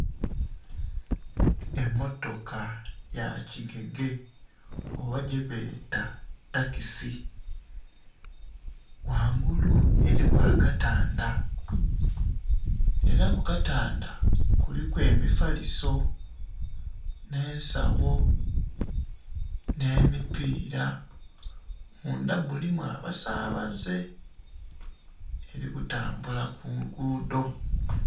Emotoka ye kigege oba gye beta takisi, ghangulu eriku akatandha era ku katandha kuliku emipaliso, nhe ensagho nhe mipira, mundha mulimu abasabaze eri kutambula ku lugudho.